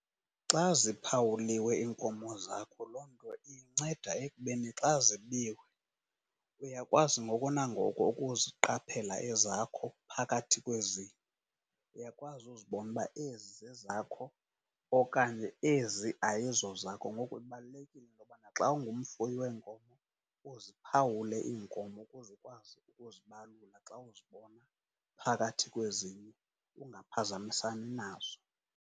Xa ziphawuliwe iinkomo zakho loo nto inceda ekubeni xa zibiwe uyakwazi ngoko nangoko ukuziqaphela ezakho phakathi kwezinye. Uyakwazi uzibona uba ezi zezakho okanye ezi ayizozakho. Ngoko ibalulekile into yobana xa ungumfuyi weenkomo uziphawule iinkomo ukuze ukwazi ukuzibalula xa uzibona phakathi kwezinye, ungaphazamisani nazo.